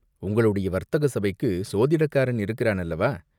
உங்களுடைய வர்த்தக சபைக்குச் சோதிடக்காரன் இருக்கிறான் அல்லவா?